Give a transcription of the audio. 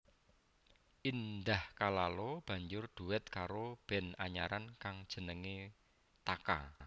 Indah Kalalo banjur dhuet karo band anyaran kang jenengé Taka